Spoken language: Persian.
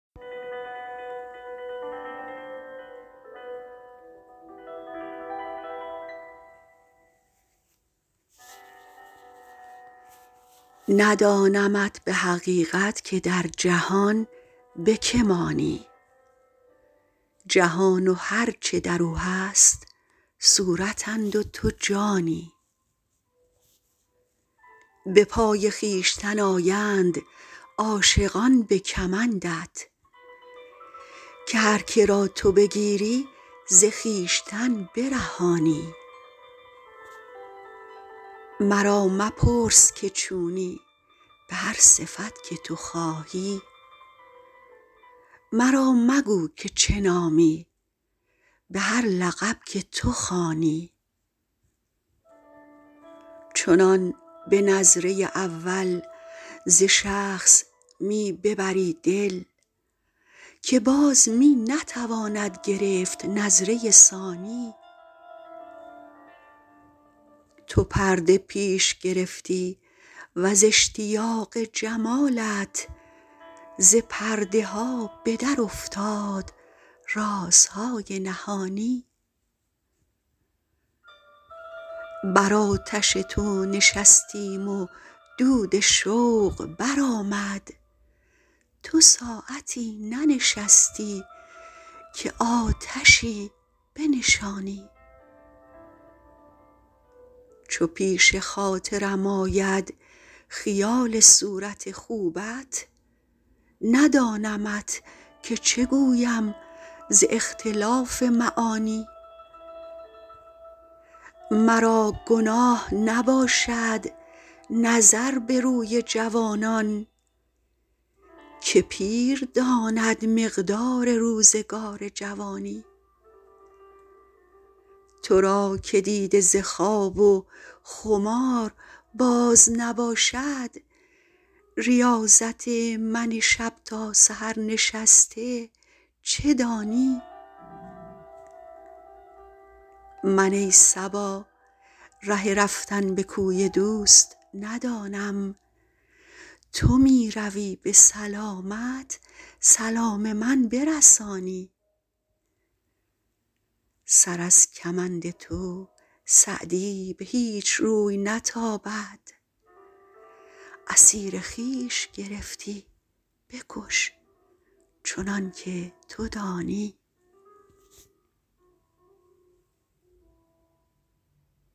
ندانمت به حقیقت که در جهان به که مانی جهان و هر چه در او هست صورتند و تو جانی به پای خویشتن آیند عاشقان به کمندت که هر که را تو بگیری ز خویشتن برهانی مرا مپرس که چونی به هر صفت که تو خواهی مرا مگو که چه نامی به هر لقب که تو خوانی چنان به نظره اول ز شخص می ببری دل که باز می نتواند گرفت نظره ثانی تو پرده پیش گرفتی و ز اشتیاق جمالت ز پرده ها به درافتاد رازهای نهانی بر آتش تو نشستیم و دود شوق برآمد تو ساعتی ننشستی که آتشی بنشانی چو پیش خاطرم آید خیال صورت خوبت ندانمت که چه گویم ز اختلاف معانی مرا گناه نباشد نظر به روی جوانان که پیر داند مقدار روزگار جوانی تو را که دیده ز خواب و خمار باز نباشد ریاضت من شب تا سحر نشسته چه دانی من ای صبا ره رفتن به کوی دوست ندانم تو می روی به سلامت سلام من برسانی سر از کمند تو سعدی به هیچ روی نتابد اسیر خویش گرفتی بکش چنان که تو دانی